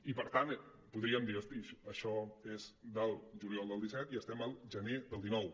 i per tant podríem dir hosti això és del juliol del disset i estem al gener del dinou